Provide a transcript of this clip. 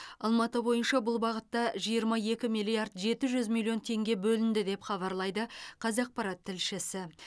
алматы бойынша бұл бағытта жиырма екі миллиард жеті жүз миллион теңге бөлінді деп хабарлайды қазақпарат тілшісі